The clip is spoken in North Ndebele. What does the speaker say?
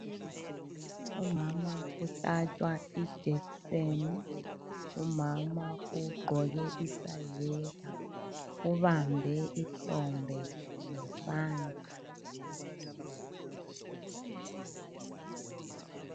Umama uhlatshwa ijekiseni. Umama ugqoke isayeka ubambe ihlombe ngesandla.